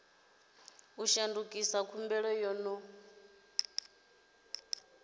u shandukisa khumbelo yo no